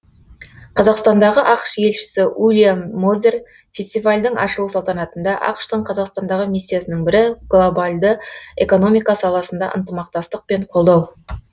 қазақстандағы ақш елшісі уильям мозер фестивальдің ашылу салтанатында ақш тың қазақстандағы миссиясының бірі глобалды экономика саласында ынтымақтастық пен қолдау